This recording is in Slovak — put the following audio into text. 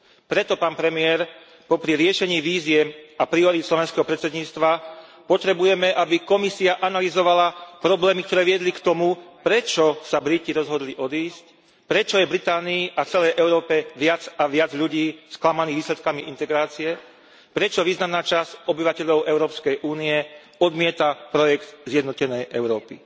Preto, pán premiér, popri riešení výziev a priorít slovenského predsedníctva potrebujeme, aby Komisia analyzovala problémy, ktoré viedli k tomu, prečo sa Briti rozhodli odísť, prečo je v Británii a celej Európe viac a viac ľudí sklamaných výsledkami integrácie, prečo významná časť obyvateľov Európskej únie odmieta projekt zjednotenej Európy.